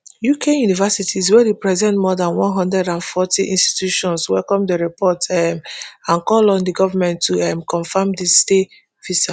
uk universities wey represent more dan one hundred and forty institutions welcome di report um and call on di goment to um confam di stay visa